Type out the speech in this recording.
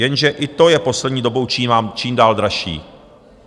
Jenže i to je poslední dobou čím dál dražší.